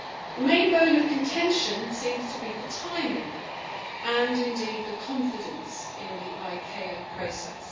The main bone of contention seems to be the timing of and indeed the confidence in the ICAO process.